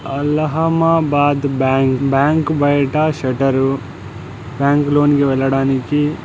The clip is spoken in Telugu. అలహామాబాద్ బ్యాంక్ బ్యాంకు బయట షట్టర్ దానికి లోనికి వెళ్లడానికి---